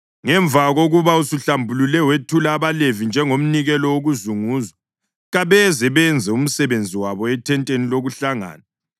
Ngemva kokuba usuhlambulule wethula abaLevi njengomnikelo wokuzunguzwa, kabeze benze umsebenzi wabo ethenteni lokuhlangana.